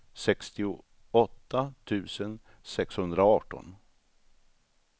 sextioåtta tusen sexhundraarton